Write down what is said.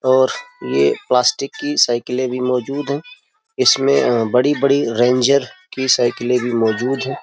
और ये प्लास्टिक की साइकिलें भी मौजूद है । इसमें बड़ी-बड़ी रेंजर की साइकिल भी मौजूद है ।